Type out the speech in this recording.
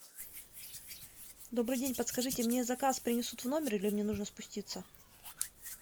добрый день подскажите мне заказ принесут в номер или мне нужно спуститься